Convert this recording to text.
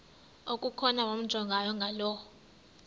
okukhona wamjongay ngaloo